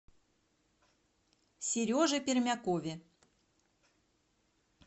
сереже пермякове